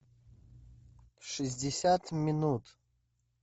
шестьдесят минут